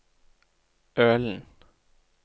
Ølen